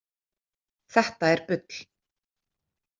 „Þetta er bull!“